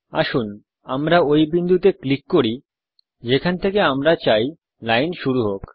আসুন আমরা ওই বিন্দুতে ক্লিক করি যেখান থেকে আমরা চাই লাইন শুরু হোক